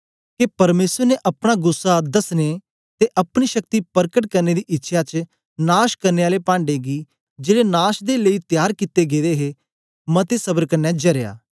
के परमेसर ने अपना गुस्सा दसने ते अपनी शक्ति परकट करने दी इच्छया च नाश करने आले पांढे गी जेड़े नाश दे लेई त्यार कित्ते गेदे हे मते सबर क्न्ने जरया